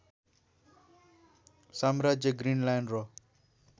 साम्राज्य ग्रीनल्यान्ड र